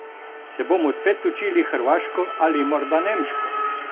Se bomo spet učili hrvaško ali morda nemško?